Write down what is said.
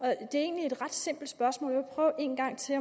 er egentlig et ret simpelt spørgsmål vil prøve en gang til